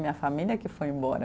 Minha família que foi embora.